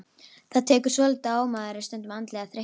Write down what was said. Þetta tekur svolítið á og maður er stundum andlega þreyttur.